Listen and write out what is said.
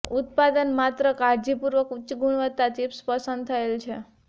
ઉત્પાદન માત્ર કાળજીપૂર્વક ઉચ્ચ ગુણવત્તા ચિપ્સ પસંદ થયેલ છે